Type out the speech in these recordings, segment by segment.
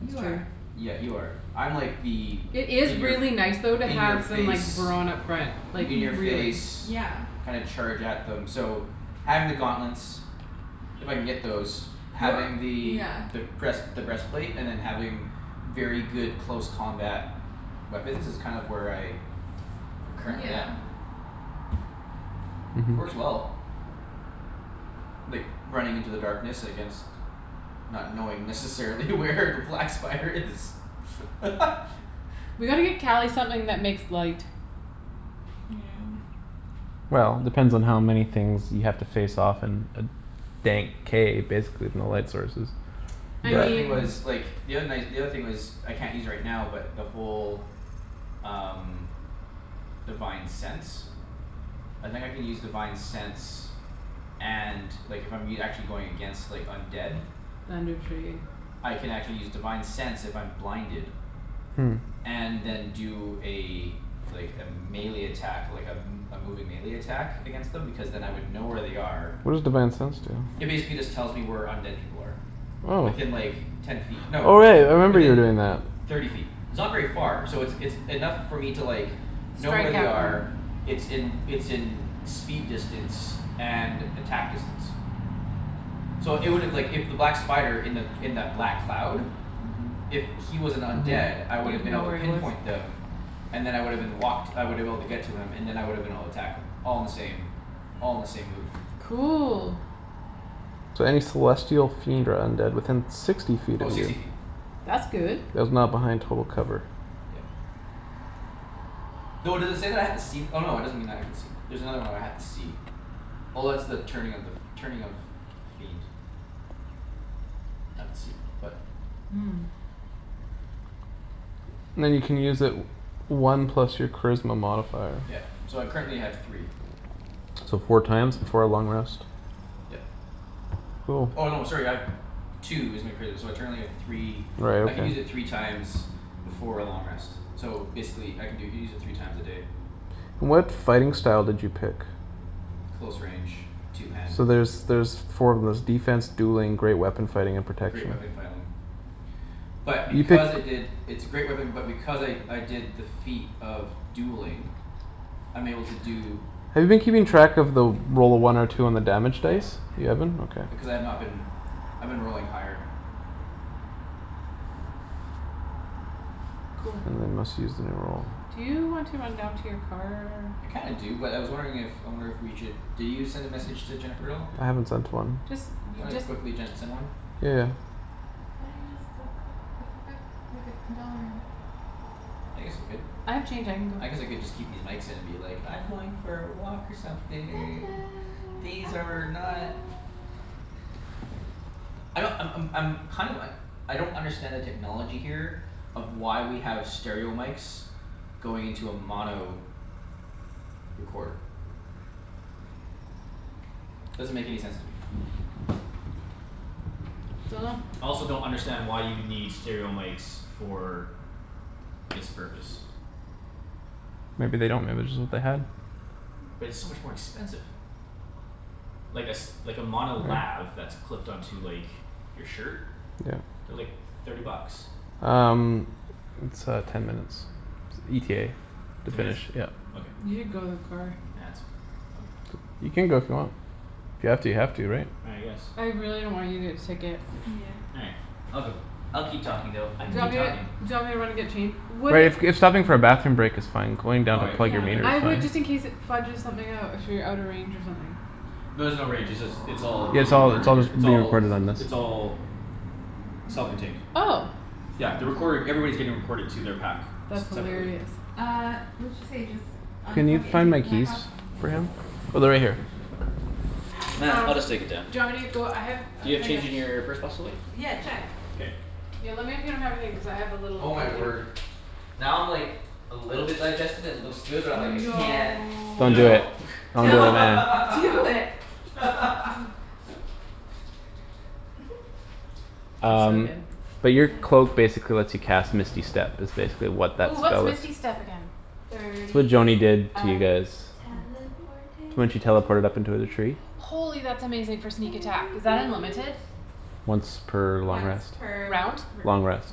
You true. are Yeah you are. I'm like the It is in your f- really nice though to In your have some like face brawn up front. Like In Mhm your really. face yeah kind of charge at them so having the gauntlets If I can get those You're having the yeah the breast the breastplate and then having Very good close combat weapons is kind of where I I'm currently at. Yeah Mhm Works well. Like running into the darkness against Not knowing necessarily where the black spider is We gotta get Cali something that makes light. Well depends on how many things you have to face off in a Dank cave basically with no light sources. I The other thing mean But was like the other night the other thing was I can't use right now but the whole Um divine sense I think I can use divine sense and like I'm e- actually if I'm going against undead. Thunder Tree. I can actually use divine sense if I'm blinded. Hmm And then do a Like a melee attack like a m- a moving melee attack against them because then I would know where they are What does divine sense do? It basically just tells me where undead people are. Oh Within like ten feet no Oh right I remember you were within doing that. thirty feet. It's not very far. So it's it's enough for me to like Know where Strike they at them. are it's in it's in Speed distance and attack distance So it would've like if that black spider in that in the black cloud Mhm If he was an undead I would've You'd been able know to where he was. pinpoint them. And then I would've been walked I woulda been able to get to him and then I would've been able to attack him. All in the same all in the same move. Cool So any celestial fiend or undead within sixty feet Oh of sixty you. feet. That's good. That is not behind total cover. Yeah Though does it say that I have to see no it doesn't mean I can see There's another one where I have to see. Oh that's the turning of the f- turning of Fiend. I had to see them but Hmm Then you can use it One plus your charisma modifier. Yeah so I currently have three. So four times before a long rest. Yep. Cool Oh no sorry I have Two is my charisma so I currently have three Right I can use okay. it three times Before a long rest. So basically I can do it u- use it three times a day. What fighting style did you pick? Close range two handed So there's there's four of those, defense, dueling, great weapon fighting, and Great protection. weapon fighting. But You because I picked did It's a great weapon but because I I did defeat of dueling I'm able to do Have you been keeping track of the roll a one or two on the damage Yes dice? I You have it up. haven't? Okay. Because I've not been. I've been rolling higher Cool Then they must use in a roll. Do you want to run down to your car? I kinda do but I was wondering if I wonder if we should did you send a message to Jennifer at all? I haven't sent one. Just Do you you wanna just quickly send one? Yeah yeah Why don't you just go put a few buck like a dollar in? I guess I could. I have change I can go I guess I could just keep these mics in and be like I'm going for a walk or something. These are not I don't I'm I'm I'm kind of uh I don't understand the technology here Of why we have stereo mics Going into a mono recorder. Doesn't make any sense to me. Dunno I also don't understand why you would need stereo mics for This purpose. Maybe they don't maybe just what they had. But it's so much more expensive. Like a s- like a mono lav that's clipped on to like your shirt Yeah. they're like thirty bucks. Um It's uh ten minutes ETA to Ten minutes? finish yeah. Okay. You should go to the car. Nah that's all right I'll be fine. You can go if you want. If you have to you have to right? I guess I really don't want you to get a ticket. Yeah All right. I'll go. I'll keep talking though. I Do can you want keep me talking. do you want me to run and get change? Would Right it if if stopping for a bathroom break is fine, going All down right to plug Yeah your meter is I K. fine. would just in case it fudges something out if you're out of range or something. No there's no range. It's all Yeah it's getting all recorded it's right all here. just It's being all recorded on this. it's all Self contained. Oh Yeah the recording everybody's getting recorded to their pack. S- That's separately. hilarious Uh what'd she say just Can you unplug it and find take my the pack keys off? for him? Oh they're right here. Nah, Um I'll just take it down. do you want me to go I have a You have thing of change in your purse possibly? Yeah check K Yo lemme if you don't have a thing cuz I have a little Oh my container word. Now I'm like A little bit digested and it looks good but I'm like, "I can't" No Don't do No. it. Don't do it Don't man do it. Oh. They're so Um good but your cloak Yeah basically lets you cast misty step is basically what that Oh what's spell is. misty step again? It's what Thirty Joany feet did to you of guys. teleportation. When she teleported up to the tree Holy that's amazing for sneak attack. Is Thirty that unlimited? feet. Once per long Once rest. per r- Round? r- Long rest.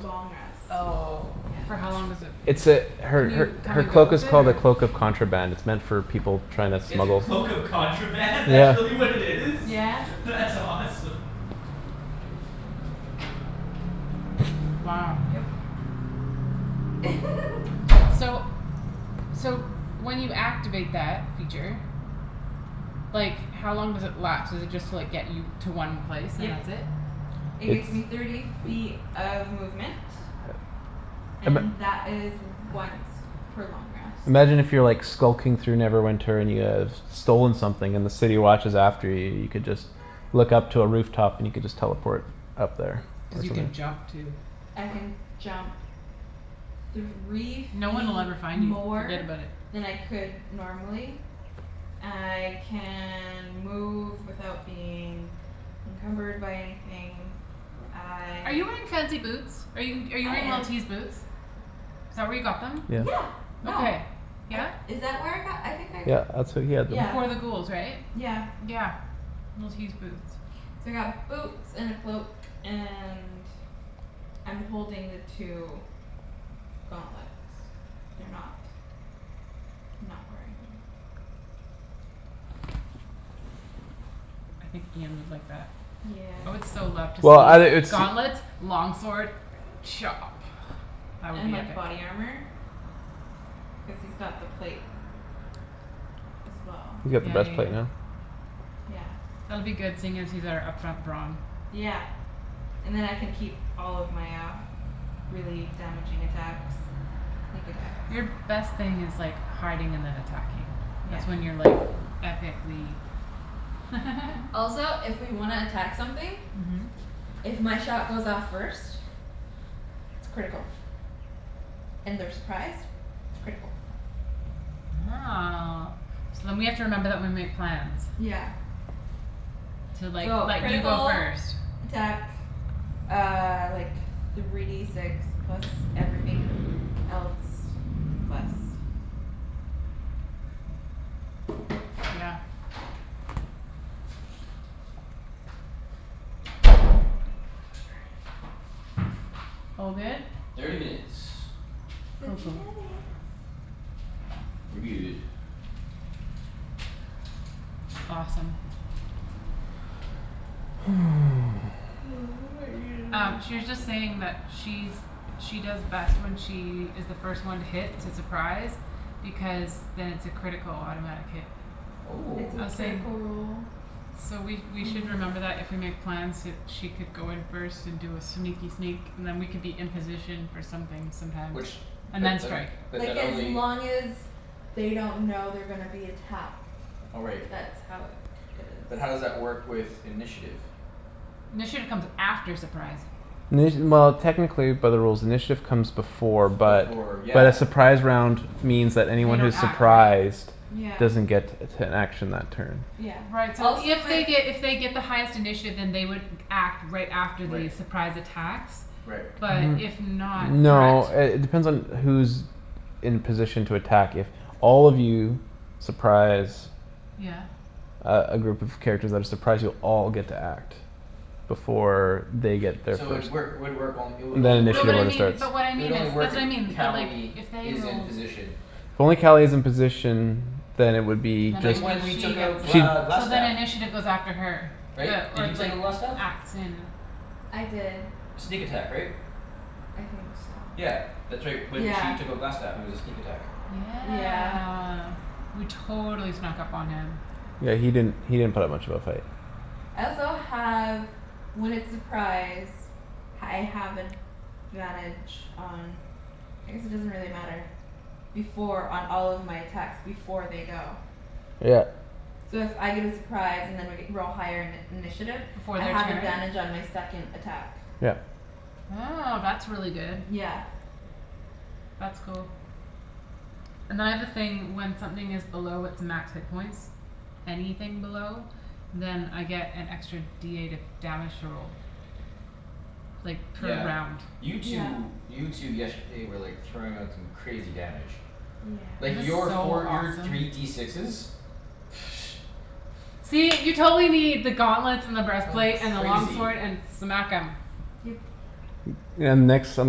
long rest. Oh Yeah for how long does it It's l- a her can her you come her and go cloak is with it called a or? cloak of contraband It's meant for people tryin' to It's a smuggle. cloak of contraband? That's Yeah really what it is? Yeah That's awesome. Wow Yep So So when you activate that feature Like how long does it last? Does it just like get you to one place Yep. and that's it? It It's gets me thirty feet of movement. Um And a that is once per long rest. Imagine if you're skulking through Neverwinter and you have Stolen something and the city watch is after you you could just Look up to a roof top and you could just teleport Up there Cuz or you something. can jump too. I can jump Three No one'll feet ever find you. more Forget about it. than I could normally I can move without being Encumbered by anything Are I you wearing fancy boots? Are you I wearing am Li'l T's boots? Is that where you got them? Yeah Yeah no. Okay. I Yeah? is that where I got them? I think I g- Yeah that's where you got them. Yeah Before the ghouls right? yeah Yeah. Li'l T's boots. So I got boots and a cloak and I'm holding the two gauntlets they're not Not wearing them. I think Ian would like that. I would Yeah so love to Well outta see it's gauntlets long sword Chop. That would And be like epic. body armor Cuz he's got the plate as well You got the Yeah best yeah plate yeah man Yeah That'll be good seeing as he's our up front brawn. Yeah And then I can keep all of my uh really damaging attacks. Sneak attacks Your best thing is like hiding and then attacking. Yeah That's when you're like epicly Also if we wanna attack something. Mhm If my shot goes off first It's critical and they're surprised It's critical Oh so then we have to remember that when we make plans Yeah To like So let you go critical first. attack uh like Three D six plus everything else plus Yeah All good? Thirty minutes. Cool Thirty cool minutes. We're good. Awesome. I might need Um another she was just coffee. saying that she's She does best when she is the first one to hit it's a surprise. Because then it's a critical automatic hit. It's Oh a I was saying critical roll So we we on should the attack. remember that if we make plans that she could go in first and do a sneaky sneak And then we could be in position for something sometimes. Which And but then un- strike. Like but as only long as they don't know they're gonna be attacked. Oh right. That's how it it is But how does that work with initiative? Initiative comes after surprise. Well technically by the rules initiative Comes before but Before but yeah a Surprise round means that They anyone don't who's act, right? Surprised Yeah doesn't get An action that turn Yeah Right so also if my they f- get if they get the highest initiative then they would act right after Right. the surprise attacks Right. But if not N- no correct? uh it depends on who's In position to attack if All of you surprise Yeah Uh a group of characters that are surprised you'll all get to act Before they get their So it first work would work it would Then only work No initiative but if I wouldn't mean start but what I It would mean is only work that's if what I mean that like Cali if they is in rolled position. If only Cali is in position Then it would be Then Like just only when we she took out gets it she'd Gl- so then Glastaff. initiative goes after her. Right? The Did or you take like out Glastaff? acts in I did Sneak attack right? I think so Yeah that's right. When Yeah she took out Glastaff it was a sneak attack. Yeah Yeah we totally snuck up on him. Yeah he didn't he didn't put up that much of a fight. I also have when it's surprise I have advantage on I guess it doesn't really matter Before on all of my attacks before they go. Yeah So if I get a surprise and I g- we're all higher in- initiative Before I their have turn? advantage on my second attack. Yeah Oh that's really good. Yeah That's cool And then I have a thing when something is below its max hit points Anything below Then I get an extra D eight of damage to roll. Like per Yeah round. you Yeah two you two yesterday were like throwing out some crazy damage. Like It was your Yes so four your awesome. three D sixes See you totally need the gauntlets and the That was breastplate and the long crazy. sword and smack 'em. Yep And next in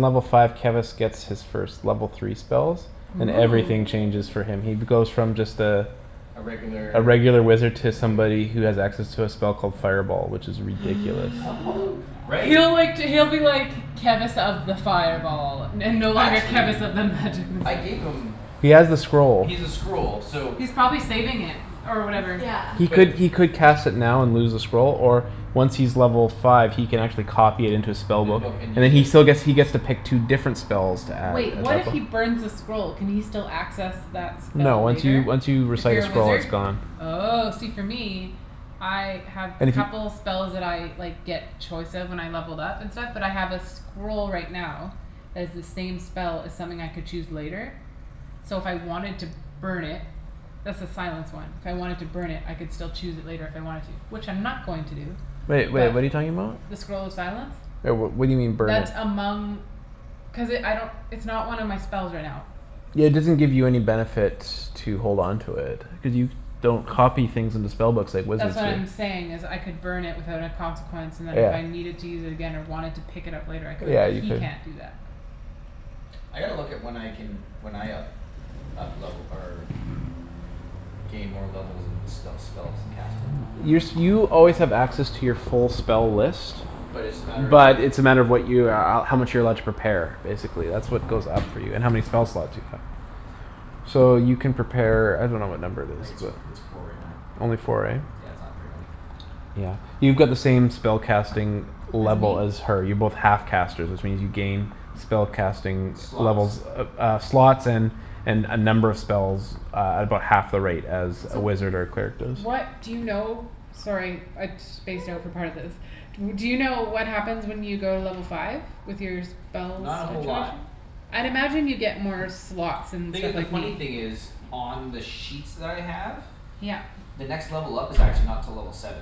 level five Kevus gets his first level three spells And everything changes Oh for him. He goes from just uh A A regular regular wizard To like somebody who has access to a spell called Fireball which is ridiculous. Oh god Right He'll like d- he'll be like Kevus of the fireball And no longer Actually Kevus of the magic missile. I gave them He has the scroll. He's a scroll so He's probably saving it or whatever. He Yeah But could he could cast it now and lose the scroll Or once he's level five he can Actually copy it into his spell In book book and And then use he it. still gets he gets to pick two different spells to add Wait what if he burns the scroll? Can he still access that No spell once you later? once you If recite a you're a scroll it's wizard? gone. Oh see for me I have a And if you couple spells that I like get choice of when I levelled up and stuff but I have a scroll right now Has the same spell as something I could choose later So if I wanted to burn it That's the silence one. If I wanted to burn it I could still choose it later if I wanted to which I'm not going to do. Wait wait But what're you talking about? the scroll of silence Right well what do you mean burn it? That among Cuz it I don't it's not one of my spells right now. Yeah it doesn't give you any benefit to hold on to it Cuz you don't copy things into spellbooks Like wizards That's what do I'm saying is I could burn it without a consequence And then if I Yeah needed to use it again or wanted to pick it up later I could. Yeah you He could. can't do that I gotta look at when I can when I up up level or gain more levels and sp- spells and cast 'em Your you always have access to your full spell list But it's just a matter of like But it's a matter of what you uh how much you're allowed To prepare, basically that's what goes up for you and how many spell slots you have. So you can prepare I dunno what number it I is think it's but it's four right now Only four right? Yeah it's not very many. Yeah. You got the same spellcasting As Level me? as her. You're both half casters which means you gain Spell casting Slots levels uh slots and And uh number of spells uh At about half the rate as a So wizard or Cleric What does do you know? Sorry I spaced out for part of this. W- do you know what happens when you go to level five? With your spell Not a whole lot. situation? I'd imagine you get more slots and Thing i- stuff the like funny me. thing is On the sheets that I have Yep. The next level up is actually not till level seven.